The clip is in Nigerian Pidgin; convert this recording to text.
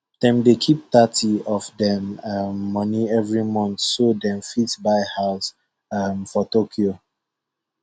dem dey keep thirty of dem um money every month so dem fit buy house um for tokyo